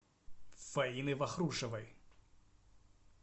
фаины вахрушевой